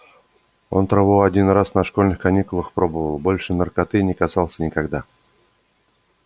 он траву один раз на школьных каникулах пробовал больше наркоты не касался никогда